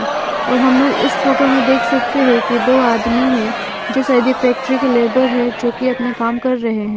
और हम लोग इस फोटो में देख सकते है कि दो आदमी है जो शायद ये फैक्ट्री के लेबर है जो कि अपने काम कर रहे हैं।